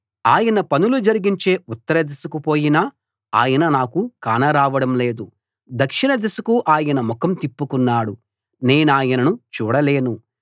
ఆయన పనులు జరిగించే ఉత్తరదిశకు పోయినా ఆయన నాకు కానరావడం లేదు దక్షిణ దిశకు ఆయన ముఖం తిప్పుకున్నాడు నేనాయనను చూడలేను